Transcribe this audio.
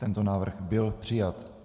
Tento návrh byl přijat.